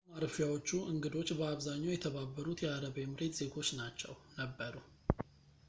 የእንግዳ ማረፊያዎቹ እንግዶች በአብዛኛው የተባበሩት የአረብ ኤምሬት ዜጎች ነበሩ